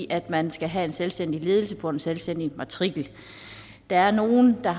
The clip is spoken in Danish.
at man skal have en selvstændig ledelse på en selvstændig matrikel der er nogle der